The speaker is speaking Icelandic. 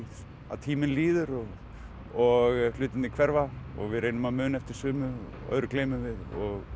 að tíminn líður og og hlutirnir hverfa og við reynum að muna eftir sumu og öðru gleymum við og